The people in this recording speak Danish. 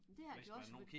Men det er det også fordi